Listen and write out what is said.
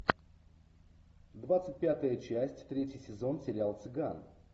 двадцать пятая часть третий сезон сериал цыган